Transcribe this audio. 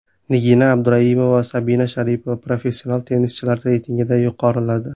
Nigina Abduraimova va Sabina Sharipova professional tennischilar reytingida yuqoriladi.